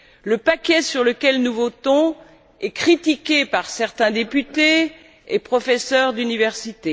Le paquet sur lequel nous votons est critiqué par certains députés et professeurs d'université.